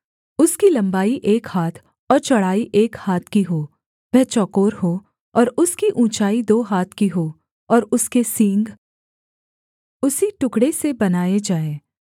उसकी लम्बाई एक हाथ और चौड़ाई एक हाथ की हो वह चौकोर हो और उसकी ऊँचाई दो हाथ की हो और उसके सींग उसी टुकड़े से बनाए जाएँ